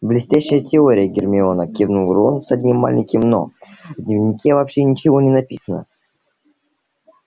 блестящая теория гермиона кивнул рон с одним маленьким но в дневнике вообще ничего не написано